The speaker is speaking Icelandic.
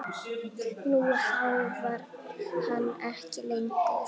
Nú háfar hann ekki lengur.